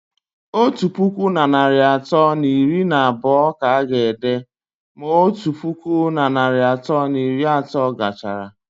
Otu puku na narị atọ na iri na abụọ ka a ga-ede ma otu puku na narị atọ na iri na otu gachara